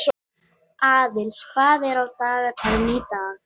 Langt er þó frá því að menn skilji þessa atburðarás til fulls.